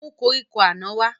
Mú koríko àná wá